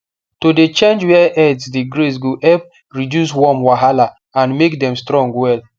to dey change where herds dey graze go help reduce worm wahala and make dem strong well